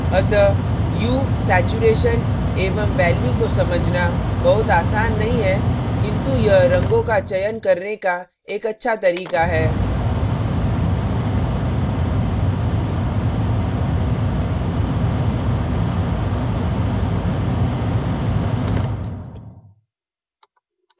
अतः hue hue saturation saturation एवं value value को समझना बहुत आसान नहीं है किन्तु यह रंगों का चयन करने का एक अच्छा तरीका है